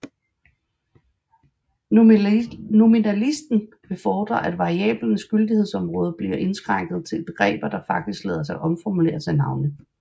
Nominalisten vil fordre at variablernes gyldighedsområde bliver indskrænket til begreber der faktisk lader sig omformulere til navne